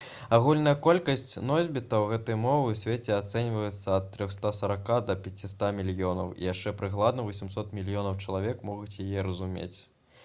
агульная колькасць носьбітаў гэтай мовы ў свеце ацэньваецца ад 340 да 500 мільёнаў і яшчэ прыкладна 800 мільёнаў чалавек могуць яе разумець